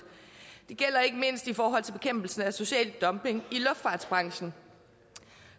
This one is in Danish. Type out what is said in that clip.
det gælder ikke mindst i forhold til bekæmpelsen af social dumping i luftfartsbranchen